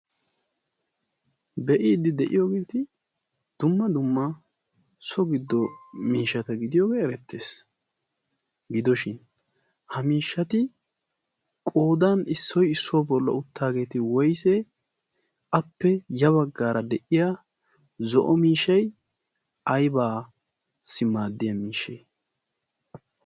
be'iidi de'iyoogeeti dumma dumma so giddo miishata gidiyoogee erettees. gidoshin ha miishshati qoodan issoy issuwaa bolla uttaageeti woysee? appe ya baggaara de'iya zo'o miishai aybaassi maaddiya miishshay?